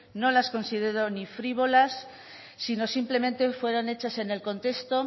no las considero ni frívolas sino simplemente fueron hechas en el contexto